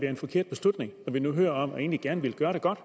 en forkert beslutning når vi nu hører om at man egentlig gerne ville gøre det godt